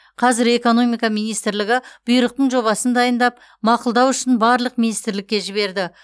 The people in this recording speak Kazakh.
қазір экономика министрлігі бұйрықтың жобасын дайындап мақұлдау үшін барлық министрлікке жіберді